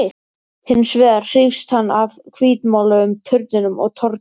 Hins vegar hrífst hann af hvítmáluðum turninum á torginu.